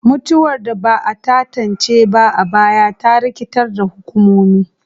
Mutuwar da ba a tantance ba a baya ta rikitar da hukumomi,